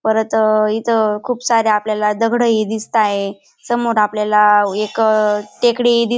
परत इथे खूप सारे आपल्याला दगड हि दिसताय समोर आपल्याला एक टेकडी दि --